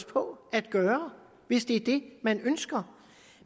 på at gøre hvis det er det man ønsker